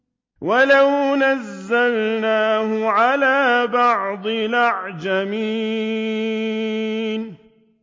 وَلَوْ نَزَّلْنَاهُ عَلَىٰ بَعْضِ الْأَعْجَمِينَ